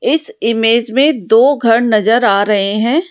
इस इमेज में दो घर नजर आ रहे हैं।